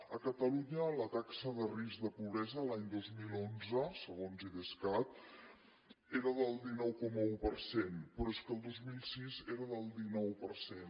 a catalunya la taxa de risc de pobresa l’any dos mil onze segons idescat era del dinou coma un per cent però és que el dos mil sis era del dinou per cent